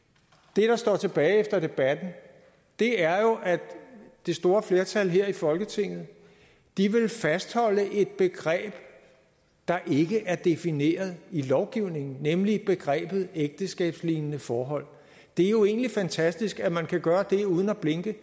det der står tilbage efter debatten er jo at det store flertal her i folketinget vil fastholde et begreb der ikke er defineret i lovgivningen nemlig begrebet ægteskabslignende forhold det er jo egentlig fantastisk at man kan gøre det uden at blinke